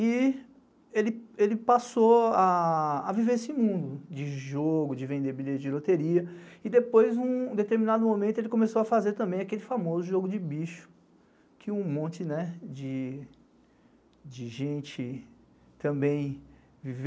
E ele passou a viver esse mundo de jogo, de vender bilhetes de loteria, e depois, em um determinado momento, ele começou a fazer também aquele famoso jogo de bicho, que um monte de gente também viveu.